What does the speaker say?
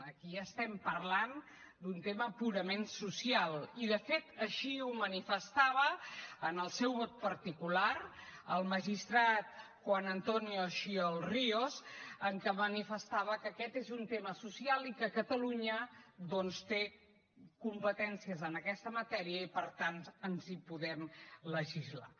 aquí estem parlant d’un tema purament social i de fet així ho manifestava en el seu vot particular el magistrat juan antonio xiol ríos en què manifestava que aquest és un tema social i que catalunya doncs té competències en aquesta matèria i per tant ens podem legislar